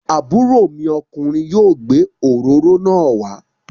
Àbúrò mi ọkùnrin yóò gbé òróró náà wá.